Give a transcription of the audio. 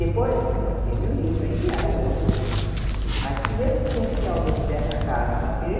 Depois que eu lancei meu livro, aí vieram outros livros, mas primeiro tinha que ter alguém que desse a cara para bater,